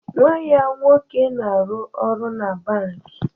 Nwa ya nwoke na-arụ ọrụ na bankị